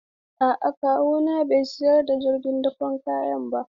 A'a kawuna bai sayi jirgin dakon kaya ba.